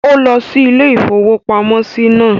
Ó lọ sí ilé-ìfowópamọ́sí náà